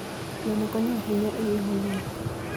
Gweno konyo ahinya e geng'o lum.